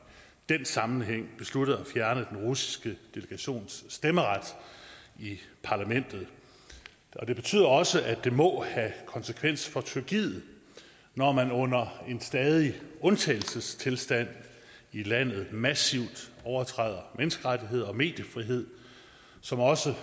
den sammenhæng besluttede at fjerne den russiske delegations stemmeret i parlamentet det betyder også at det må have konsekvens for tyrkiet når man under en stadig undtagelsestilstand i landet massivt overtræder menneskerettigheder og mediefrihed som også